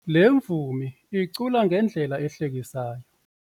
Le mvumi icula ngendlela ehlekisayo.